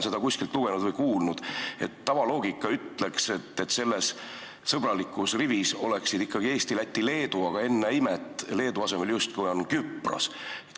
Ja üllatus-üllatus , tavaloogika ütleks, et selles sõbralikus rivis oleksid ikkagi Eesti, Läti ja Leedu, aga ennäe imet, Leedu asemel justkui on Küpros.